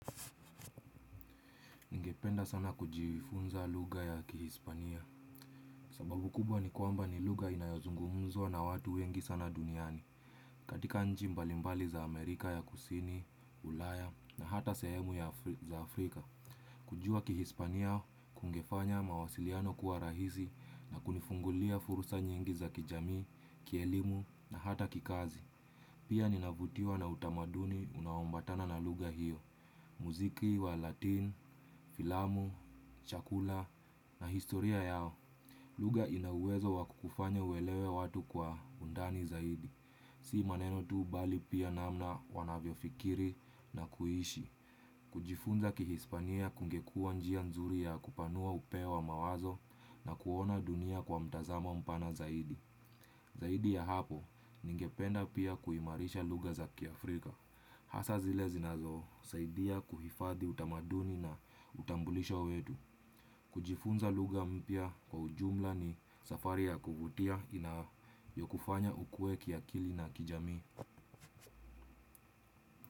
Ningependa sana kujifunza lugha ya kihispania. Sababu kubwa ni kwamba ni lugha inayozungumzwa na watu wengi sana duniani. Katika nchi mbalimbali za Amerika ya kusini, ulaya na hata sehemu za Afrika. Kujua kihispania kungefanya mawasiliano kuwa rahisi na kunifungulia fursa nyingi za kijamii, kielimu na hata kikazi. Pia ninavutiwa na utamaduni unaoambatana na lugha hiyo. Muziki wa latin, filamu, chakula na historia yao. Lugha ina uwezo wa kukufanya uelewe watu kwa undani zaidi. Si maneno tu bali pia namna wanavyofikiri na kuishi. Kujifunza kihispania kungekuwa njia nzuri ya kupanua upeo wa mawazo na kuona dunia kwa mtazamo mpana zaidi. Zaidi ya hapo ningependa pia kuimarisha lugha za kiafrika. Hasa zile zinazosaidia kuhifadhi utamaduni na utambulisho wetu. Kujifunza lugha mpya kwa ujumla ni safari ya kuvutia ina yokufanya ukue kiakili na kijamii.